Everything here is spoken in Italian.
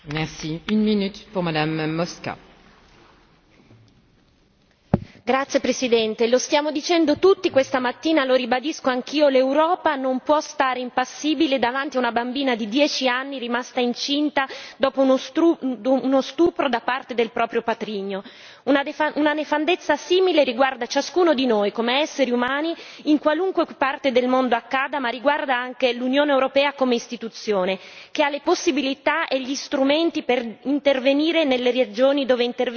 Signor Presidente, onorevoli colleghi, lo stiamo dicendo tutti, questa mattina, lo ribadisco anch'io, l'Europa non può stare impassibile davanti a una bambina di 10 anni rimasta incinta dopo uno stupro da parte del proprio patrigno. Una nefandezza simile riguarda ciascuno di noi, come esseri umani in qualunque parte del mondo accada, ma riguarda anche l'Unione europea come istituzione, che ha le possibilità e gli strumenti per intervenire nelle regioni dove